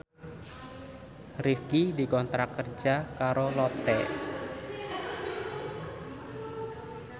Rifqi dikontrak kerja karo Lotte